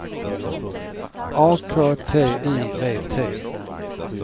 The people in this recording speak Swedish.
A K T I V T